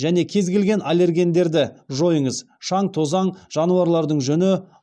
және кез келген аллергендерді жойыңыз шаң тозаң жануарлардың жүні